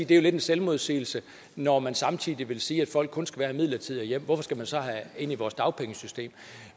lidt af en selvmodsigelse når man samtidig siger at folk kun skal være her midlertidigt hvorfor skal man så have ind i vores dagpengesystem